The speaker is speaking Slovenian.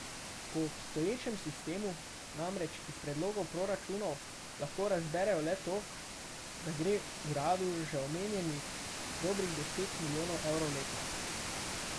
Po obstoječem sistemu namreč iz predlogov proračunov lahko razberejo le to, da gre uradu že omenjenih dobrih deset milijonov evrov letno.